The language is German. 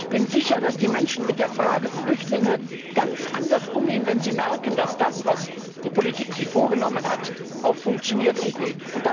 Und ich bin sicher, dass die Menschen mit der Frage der Flüchtlinge ganz anders umgehen, wenn sie merken, dass das, was die Politik sich vorgenommen hat, auch funktioniert und geht.